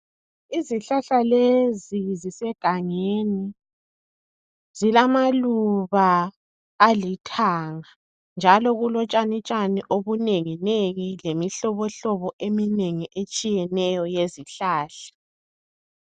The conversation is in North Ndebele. Izihlahla lezi zisegangeni zilamaluba alithanga njalo kulo tshani tshani obunengi nengi lemihlobo hlobo eminengi etshiyeneyo yezihlahla.